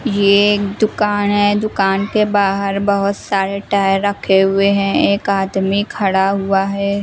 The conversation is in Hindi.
ये दुकान है दुकान के बाहर बहोत सारे टायर रखे हुए हैं एक आदमी खड़ा हुआ है।